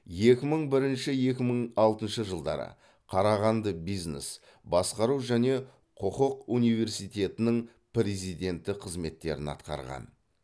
екі мың бірінші екі мың алтыншы жылдары қарағанды бизнес басқару және құқық университетінің президенті қызметтерін атқарған